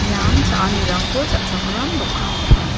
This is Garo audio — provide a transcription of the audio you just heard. ian cha·anirangko cha·chakram dokan ong·a.